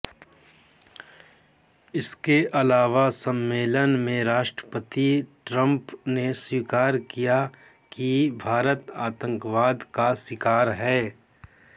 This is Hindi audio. इसके अलावा सम्मेलन में राष्ट्रपति ट्रंप ने स्वीकार किया कि भारत आतंकवाद का शिकार है